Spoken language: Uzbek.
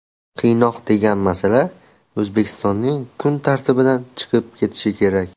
qiynoq degan masala O‘zbekistonning kun tartibidan chiqib ketishi kerak.